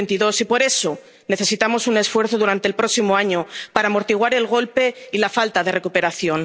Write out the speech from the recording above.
2022. Y por eso necesitamos un esfuerzo durante el próximo año para amortiguar el golpe y la falta de recuperación.